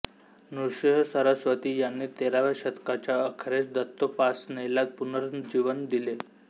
नृसिंहसरस्वती यांनी तेराव्या शतकाच्या अखेरीस दत्तोपासनेला पुनर्जीनवन दिले